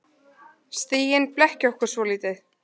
Stigin blekkja okkur svolítið.